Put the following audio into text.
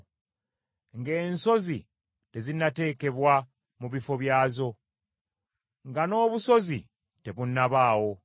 ng’ensozi tezinnateekebwa mu bifo byazo, nga n’obusozi tebunnabaawo;